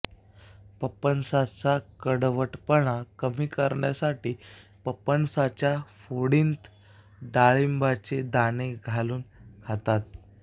पपनसाचा कडवटपणा कमी करण्यासाठी पपनसाच्या फोडींत डाळिंबाचे दाणे घालून खातात